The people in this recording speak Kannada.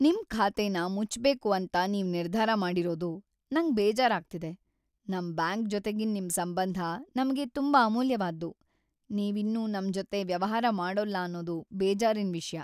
ನಿಮ್ ಖಾತೆನ ಮುಚ್ಬೇಕು ಅಂತ ನೀವ್ ನಿರ್ಧಾರ ಮಾಡಿರೋದು ನಂಗ್‌ ಬೇಜಾರಾಗ್ತಿದೆ. ನಮ್ ಬ್ಯಾಂಕ್‌ ಜೊತೆಗಿನ್ ನಿಮ್ ಸಂಬಂಧ ನಮ್ಗೆ ತುಂಬಾ ಅಮೂಲ್ಯವಾದ್ದು. ನೀವಿನ್ನು ನಮ್ಜೊತೆ ವ್ಯವಹಾರ ಮಾಡೋಲ್ಲ ಅನ್ನೋದು ಬೇಜಾರಿನ್‌ ವಿಷ್ಯ.